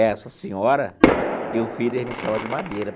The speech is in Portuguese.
Essa senhora e o filho ele me chama de Madeira.